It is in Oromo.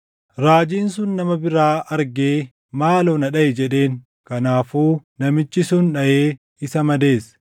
Raajiin sun nama biraa argee, “Maaloo na dhaʼi” jedheen. Kanaafuu namichi sun dhaʼee isa madeesse.